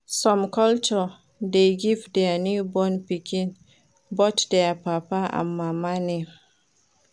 Some culture de give their newborn pikin both their papa and mama name